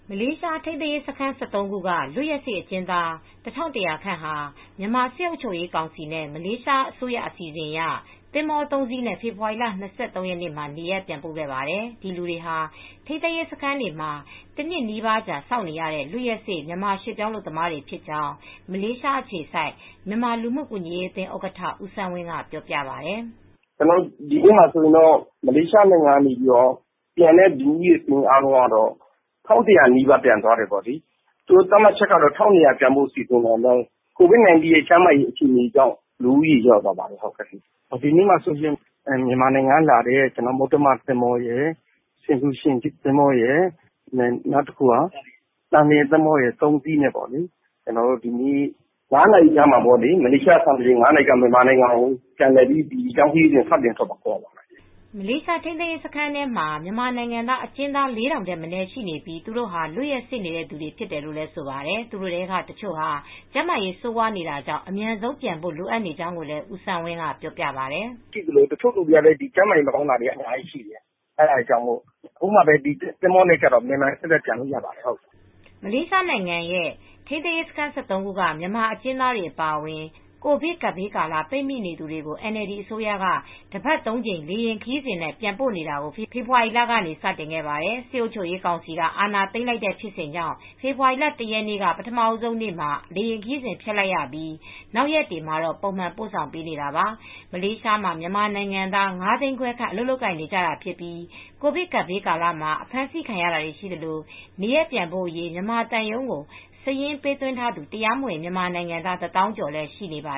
မလေးရှားထိန်းသိမ်းရေးစခန်း ၁၃ ခုက လွတ်ရက်စေ့အကျဉ်းသား ၁၁၀၀ ခန့်ဟာ မြန်မာစစ်အုပ်ချုပ်ရေးကောင်စီနဲ့ မလေးရှားအစိုးရ အစီအစဉ်အရ သင်္ဘော ၃ စီးနဲ့ ဖေဖေါ်ဝါရီလ ၂၃ ရက်နေ့မှာ နေရပ်ပြန်ပို့ခဲ့ပါတယ်။ ဒီလူတွေဟာ ထိန်းသိမ်းရေးစခန်းတွေမှာ တနှစ်နီးပါးကြာစောင့်နေရတဲ့ လွတ်ရက်စေ့ မြန်မာရွှေ့ပြောင်း အလုပ်သမားတွေဖြစ်ကြောင်း မလေးရှားအခြေစိုက်မြန်မာလူမှုကူညီရေးအသင်း ဥက္ကဋ္ဌ ဦးစန်းဝင်းက အခုလိုပြောပါတယ်။ "ကျနော်တို့ ဒီနေ့မှာ မလေးရှား နိုင်ငံကနေ ပြန်တဲ့ လူဦးရေ စာရင်းအားလုံးက ၁,၁၀၀ နီးပါးပြန်သွားတယ်။ သူတို့ ပြန်ဖို့က သတ်မှတ်ချက်က ၁,၂၀၀ လောက်ရှိပေမဲ့ ကိုဗစ် ၁၉ ကျန်းမာရေး အခြေအနေကြောင့် လူဦးရေလျော့သွားပါတယ်။ ဒီနေ့မှာတော့ မြန်မာနိုင်ငံက လာတဲ့ မုတ္တမ သင်္ဘောရယ်၊ ဆင်ဖြူရှင်သင်္ဘောရယ်၊ သံလျင်သင်္ဘောရယ်နဲ့ မလေးရှားစံတော်ချိန် ညနေ ၅ နာရီခန့်မှာ ရေကြောင်းခရီးစဉ်နဲ့ ထွက်ခွါမှာဖြစ်ပါတယ်။" မလေးရှား ထိန်းသိမ်းရေးစခန်းထဲမှာ မြန်မာနိုင်ငံသား အကျဉ်းသား ၄,၀၀၀ ထက်မနည်း ရှိနေပြီး သူတို့ဟာ လွတ်ရက်စေ့နေတဲ့သူတွေဖြစ်တယ်လို့ ဆိုပါတယ်။ သူတို့ထဲက တချို့ဟာကျန်းမာရေးဆိုးဝါးနေတာကြောင့် အမြန်ဆုံးပြန်ဖို့ လိုအပ်နေတယ်လို့လည်း ဦးစန်းဝင်းကပြောပြပါတယ်။ "တချို့က ကျန်းမာရေး မကောင်းတဲ့သူ အများကြီးရှိနေတယ်။ အခုမှ သင်္ဘောနဲ့ ဆိုတော့ မြန်မြန်ထက်ထက်ပြန်လို့ရပါတယ်။" မလေးရှားနိုင်ငံရဲ့ ထိန်းသိမ်းရေးစခန်း ၁၃ ခုက မြန်မာအကျဉ်းသားတွေအပါအဝင် ကိုဗစ်ကပ်ဘေးကာလ ပိတ်မိနေသူတွေကို NLD အစိုးရက တပတ် ၃ ကြိမ် လေယာဉ်ခရီးစဉ်နဲ့ ပြန်ပို့နေတာကို ဖေဖေါ်ဝါရီလကနေ စတင်ခဲ့ပါတယ်။ စစ်အုပ်ချုပ်ရေးကောင်စီက အာဏာသိမ်းလိုက်တဲ့ဖြစ်စဉ်ကြောင့် ဖေဖေါ်ဝါရီလ ၁ ရက်နေ့ ပထမဦးဆုံးနေ့မှာ လေယာဉ်ခရီးစဉ်ဖျက်လိုက်ရပြီး နောက်ရက်တွေမှာတော့ ပုံမှန်ပို့ဆောင်ပေးနေတာပါ။ မလေးရှားမှာမြန်မာနိုင်ငံသား ၅၅၀,၀၀၀ ခန့် အလုပ်လုပ်ကိုင်နေကြတာဖြစ်ပြီး ကိုဗစ်ကပ်ဘေးကာလမှာ အဖမ်းဆီးခံရတာတွေ ရှိသလို နေရပ်ပြန်ဖို့အရေး မြန်မာသံရုံးကို စာရင်းပေးသွင်းထားသူ တရားမဝင်မြန်မာနိုင်ငံသား ၁၀,၀၀၀ ကျော်လည်းရှိနေပါ